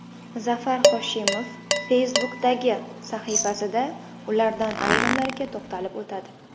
Zafar Hoshimov Facebook’dagi sahifasida ulardan ayrimlariga to‘xtalib o‘tadi .